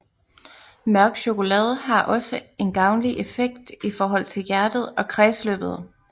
Mørk chokolade har også en gavnlig effekt i forhold til hjertet og kredsløbet